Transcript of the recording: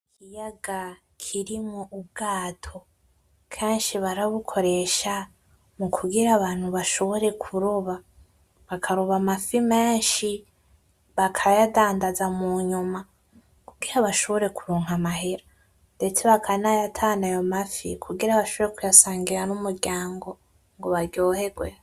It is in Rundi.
Ikiyaga kirimwo ubwato keshi barabukoresha mu kugira abantu bashobore ku roba bakaroba amafi meshi bakayadandaza mu nyuma kugira bashobore ku ronka amahera ndetse bakanayatahana ayo mafi ku gira bashobore ku yasangira n'umuryango ngo baryoherwe.